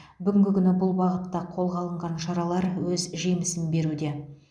бүгінгі күні бұл бағытта қолға алынған шаралар өз жемісін беруде